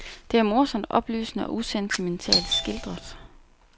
Det er morsomt, oplysende og usentimentalt skildret.